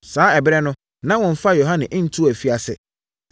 Saa ɛberɛ no na wɔmfaa Yohane ntoo afiase.